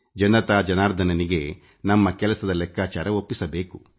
ಜನರಿಗೆ ನಮ್ಮ ಕೆಲಸದ ಲೆಕ್ಕಾಚಾರ ಒಪ್ಪಿಸಬೇಕು